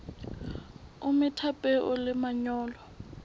o metha peo le manyolo